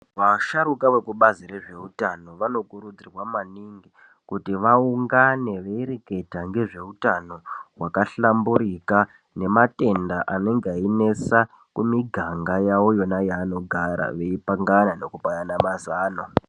Vasharukwa vekubazi rezveutano vanokurudzirwa maningi kuti vaungane veireketa ngezveutano hwakahlamburika nematenda anonga einesa kumiganga yavo yona yavanogara veipangana nekupanana mazano.